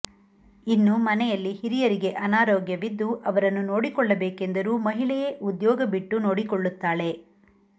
ಇನ್ನು ಮನೆಯಲ್ಲಿ ಹಿರಿಯರಿಗೆ ಅನಾರೋಗ್ಯವಿದ್ದು ಅವರನ್ನು ನೋಡಿಕೊಳ್ಳಬೇಕೆಂದರೂ ಮಹಿಳೆಯೇ ಉದ್ಯೋಗ ಬಿಟ್ಟು ನೋಡಿಕೊಳ್ಳುತ್ತಾಳೆ